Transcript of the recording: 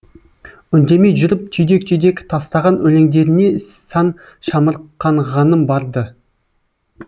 үндемей жүріп түйдек түйдек тастаған өлеңдеріне сан шамырқанғаным бар ды